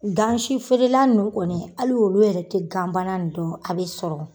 Gansi feerela ninnu kɔni hali olu yɛrɛ tɛ ganbana nin dɔn a bɛ sɔrɔ.